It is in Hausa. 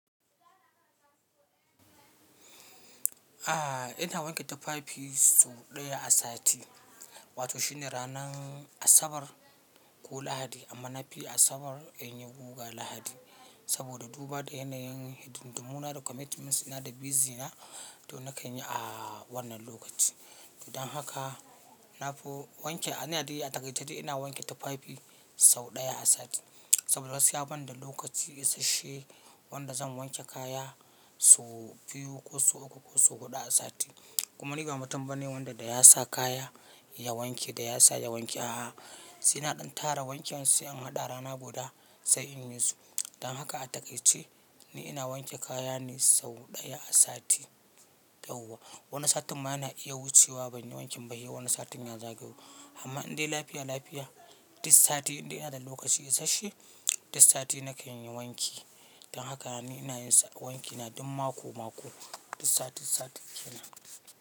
Ah ina wanke tafafi sau ɗaya a sati, wato shine ranar Asabar ko Lahadi, amma na fiyi Asabar in yi guga Lahadi saboda duba da yanayin hidimdumu na da commitments dina da busy na, to na kan yi a wannan lokaci. Dan haka, na fu wanke, ina da iya, a taƙaice dai ina wanke tafafi sau ɗaya a sati saboda gaskiya banda lokaci isasshe wanda zan wanke kaya sau biyu ko sau uku ko sau huɗu a sati kuma ni ba mutum bane wanda da ya sa kaya ya wanke, da ya sa ya wanke a'a, sai na ɗan tara wankin, sai in haɗa rana guda sai in yi su. Dan haka a taƙaice, ni ina wanke kaya ne sau ɗaya a sati, yauwa. Wani satin ma yana iya wucewa ban yi wankin ba, he wani satin ya zagayo, amma in dai lafiya lafiya duk sati in dai ina da lokaci isasshe, duk sati na kan yi wanki. Dan haka, ni ina yin wankina duk mako-mako, duk sati-sati kenan.